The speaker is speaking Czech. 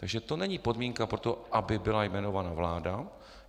Takže to není podmínka pro to, aby byla jmenována vláda.